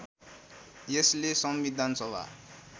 यसले संविधान सभा